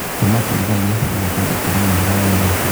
Kũmateithagia gwaka mĩtugo mĩega wega.